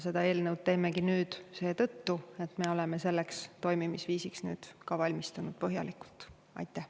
Seda eelnõu teemegi seetõttu, et me oleme selleks toimimisviisiks nüüd põhjalikult valmistanud.